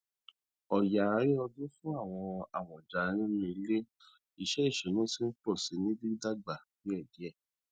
ọya àárín ọdún fún àwọn amọja nínú ilé iṣẹ ìṣúná ti ń pọ síi ní dídágbà díẹ díẹ